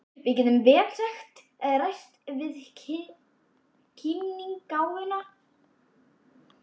Við getum vel lagt rækt við kímnigáfuna.